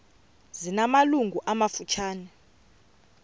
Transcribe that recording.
zina malungu amafutshane